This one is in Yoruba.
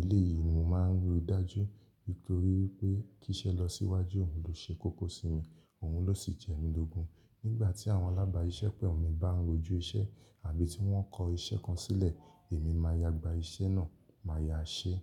Eléyìí ni mo máa ń ríi dájú. Nítorí wípé kíṣẹ́ lọ síwájú, òun ló ṣe kókó sí mi, òun ló sì jẹ mí lógún. Nígbà tí àwọn alábááṣiṣẹ́pọ̀ mi bá ń rojú iṣẹ́ àbí tí wọ́n kọ iṣẹ́ kan sílẹ̀, èmi máa ya gba iṣẹ́ náà, màá ya ṣeé.